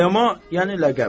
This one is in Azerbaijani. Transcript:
Ayama yəni ləqəb.